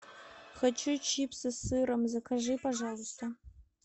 хочу чипсы с сыром закажи пожалуйста